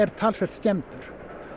talsvert skemmdur